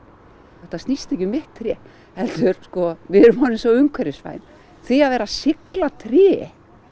þetta snýst ekki um mitt tré heldur sko við erum orðin svo umhverfisvæn því að vera að sigla tré